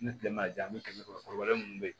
Ni kile ma ja an mi kɛmɛ kɔnɔ mun be